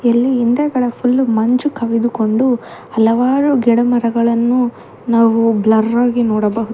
ಇಲ್ಲಿ ಹಿಂದೆಗಡೆ ಫುಲ್ ಮಂಜು ಕವಿದುಕೊಂಡು ಹಲವಾರು ಗಿಡಮರಗಳನ್ನು ನಾವು ಬ್ಲರ್ ಹಾಗಿ ನೋಡಬಹುದು.